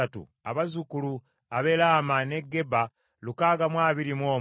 abazzukulu ab’e Laama n’e Geba lukaaga mu abiri mu omu (621),